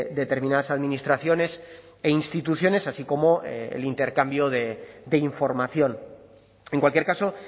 determinadas administraciones e instituciones así como el intercambio de información en cualquier caso